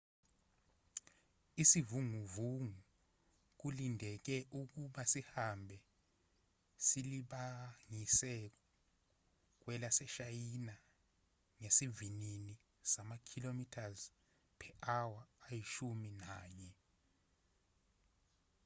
isivunguvungu kulindeleke ukuba sihambe silibangise kwelaseshayina ngesivinini sama-kph ayishumi nanye